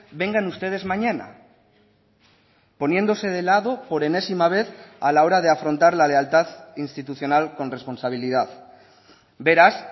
vengan ustedes mañana poniéndose de lado por enésima vez a la hora de afrontar la lealtad institucional con responsabilidad beraz